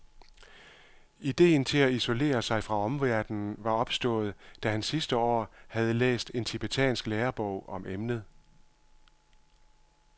Idéen til at isolere sig fra omverdenen var opstået, da han sidste år havde læst en tibetansk lærebog om emnet.